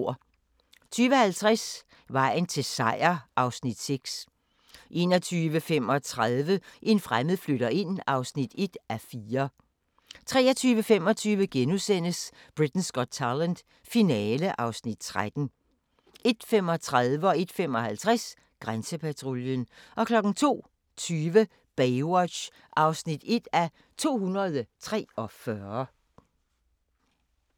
20:50: Vejen til Seier (Afs. 6) 21:35: En fremmed flytter ind (1:4) 23:25: Britain's Got Talent - finale (Afs. 13)* 01:35: Grænsepatruljen 01:55: Grænsepatruljen 02:20: Baywatch (1:243)